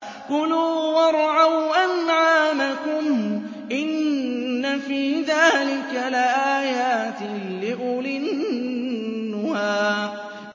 كُلُوا وَارْعَوْا أَنْعَامَكُمْ ۗ إِنَّ فِي ذَٰلِكَ لَآيَاتٍ لِّأُولِي النُّهَىٰ